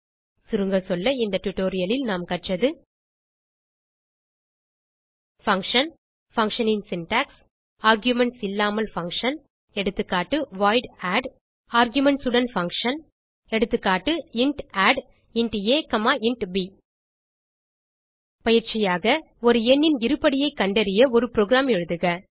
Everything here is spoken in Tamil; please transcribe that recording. சுருங்கசொல்ல இந்த டியூட்டோரியல் லில் நாம் கற்றது பங்ஷன் functionன் சின்டாக்ஸ் ஆர்குமென்ட்ஸ் இல்லாமல் பங்ஷன் எகா வாய்ட் add ஆர்குமென்ட்ஸ் உடன் பங்ஷன் எகா இன்ட் addஇன்ட் ஆ இன்ட் ப் பயிற்சியாக ஒரு எண்ணின் இருபடியைக் கண்டறிய ஒரு புரோகிராம் எழுதுக